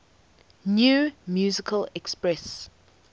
new musical express